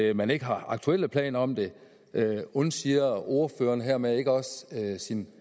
at man ikke har aktuelle planer om det undsiger ordføreren hermed ikke også sin